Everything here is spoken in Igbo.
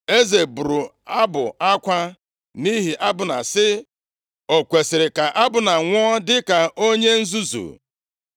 Eze bụrụ abụ akwa nʼihi Abna, sị, “O kwesiri ka Abna nwụọ dịka onye nzuzu?